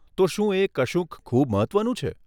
તો શું એ કશુંક ખૂબ મહત્વનું છે?